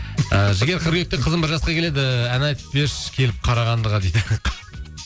ы жігер қыркүйекте қызым бір жасқа келеді ән айтып берші келіп қарағандыға дейді